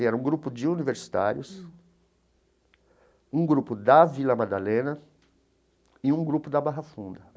Era um grupo de universitários, um grupo da Vila Madalena e um grupo da Barra Funda.